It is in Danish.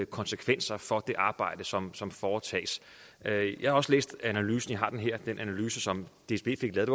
konsekvenser for det arbejde som som foretages jeg har også læst analysen som dsb fik lavet